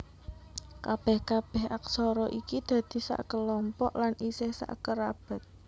Kabèh kabèh aksara iki dadi sakelompok lan isih sakerabat